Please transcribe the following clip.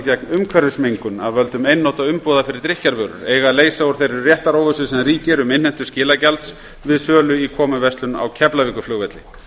gegn umhverfismengun af völdum einnota umbúða fyrir drykkjarvörur eiga að leysa úr þeirri réttaróvissu sem ríkir um innheimtu skilagjalds við sölu í komuverslun á keflavíkurflugvelli